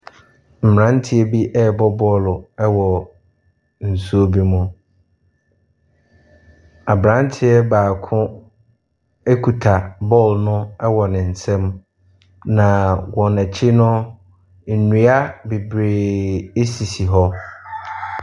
Mmeranteɛ bi rebɔ bɔɔlo wɔ nsuo bi mu. Aberanteɛ baako kita bɔɔlono wɔ ne nsam. Na wɔn akyi no, nnua bebreeee sisi hɔ.